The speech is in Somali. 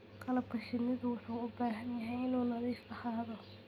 Qalabka shinnidu wuxuu u baahan yahay inuu nadiif ahaado.